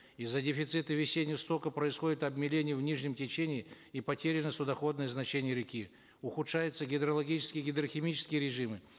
из за дефицита весеннего стока происходит обмеление в нижнем течении и потеряно судоходное значение реки ухудшаются гидрологические и гидрохимические режимы